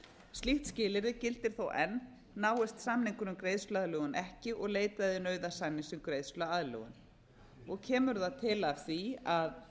slíkt skilyrði gildir þó enn náist samningur um greiðsluaðlögun ekki og leitað er nauðasamnings til greiðsluaðlögunar kemur það til af því að